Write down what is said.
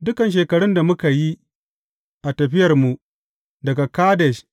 Dukan shekarun da muka yi a tafiyarmu daga Kadesh